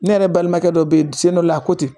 Ne yɛrɛ balimakɛ dɔ bɛ yen sen dɔ la koje ten